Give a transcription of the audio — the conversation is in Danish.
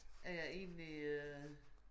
Er jeg egentlig øh